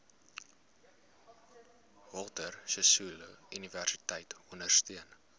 walter sisuluuniversiteit ondersteun